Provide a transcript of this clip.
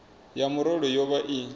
ya murole yo vha i